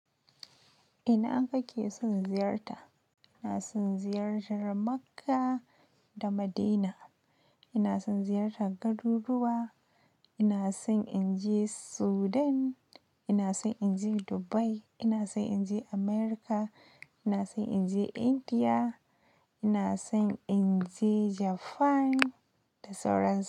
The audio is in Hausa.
Ina aka ke son ziyarta? Ina son ziyarar Makkah da Madina. Ina son ziyarta garuruwa. Ina son in je Sudan, ina son in je Dubai, ina so in je Amurka, ina so in je Indiya, ina son in je Japan da sauran su.